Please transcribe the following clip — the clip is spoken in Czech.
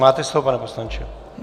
Máte slovo, pane poslanče.